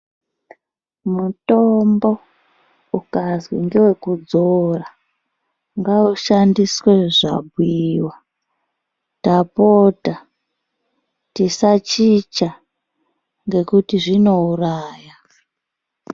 Mutombo ukazwi ngewekudzora ngaushandiswe zvabhuiwa ndapota tisachicha nekuti zvinouraya.